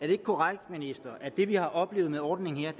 det er korrekt at det vi har oplevet med ordningen her